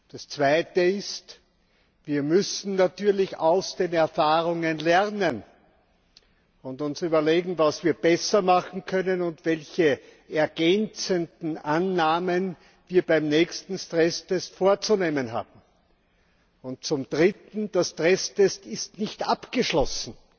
Das Zweite ist Wir müssen natürlich aus den Erfahrungen lernen und uns überlegen, was wir besser machen können und welche ergänzenden Annahmen wir beim nächsten Stresstest vorzunehmen haben. Und zum Dritten Der Stresstest ist nicht abgeschlossen.